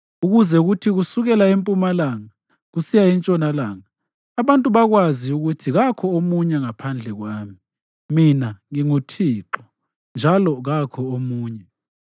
ukuze kuthi kusukela empumalanga kusiya entshonalanga, abantu bakwazi ukuthi kakho omunye ngaphandle kwami. Mina nginguThixo, njalo kakho omunye.